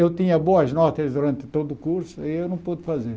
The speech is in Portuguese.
Eu tinha boas notas durante todo o curso aí eu não pude fazer.